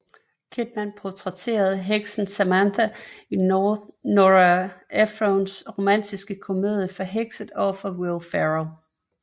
Kidman portrætterede heksen Samantha i Nora Ephrons romantiske komedie Forhekset overfor Will Ferrell